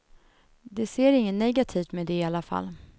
De ser inget negativt med det i alla fall.